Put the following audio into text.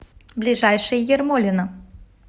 ближайший ермолино